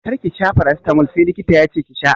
Kar ki sha farasitamol sai likita yace ki sha!